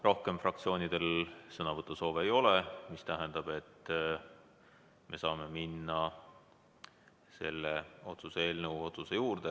Rohkem fraktsioonidel sõnavõtusoove ei ole, mis tähendab, et me saame minna selle otsuse eelnõu hääletuse juurde.